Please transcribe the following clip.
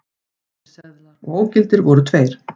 Auðir seðlar og ógildir voru tveir